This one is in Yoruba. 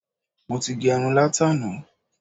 Mo ti gẹrun látàná.